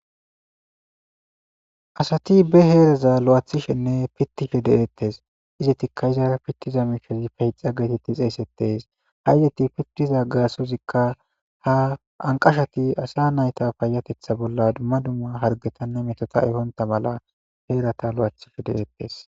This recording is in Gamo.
asati be heeraza lo7aathishenne pittishe de7eettes izetikka iza pittiza miishozi payixa geetetti xeessettees haygeti pittiza gaasozikka ha anqashati asa nayta payatetha bolla dumma dumma hargetanne metota ehonta mala heerata lo7athishe de7eettes